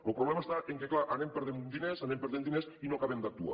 lo problema és que clar anem perdent diners anem perdent diners i no acabem d’actuar